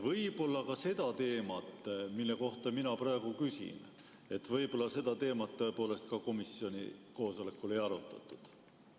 Võib-olla ka seda teemat, mille kohta mina praegu küsin, tõepoolest komisjoni koosolekul ei arutatud.